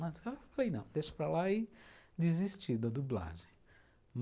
Falei, não, deixo para lá e desisti da dublagem.